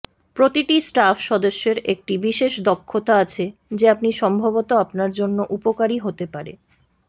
প্রতিটি স্টাফ সদস্যের একটি বিশেষ দক্ষতা আছে যে আপনি সম্ভবত আপনার জন্য উপকারী হতে পারে